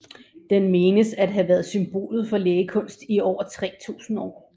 Den menes at have været symbolet for lægekunst i over 3000 år